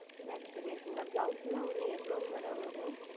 Match செய்து எடுத்துக்கொள்ளலாம் Blouse எல்லாம் ஓன்று எவ்வளவு Madam வரும்